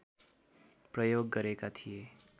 प्रयोग गरेका थिए